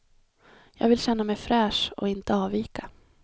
Jag vill känna mig fräsch och inte avvika.